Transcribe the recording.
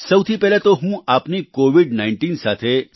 સૌથી પહેલાં તો હું આપની કોવિડ19 સાથે